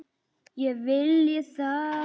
Ég vilji það?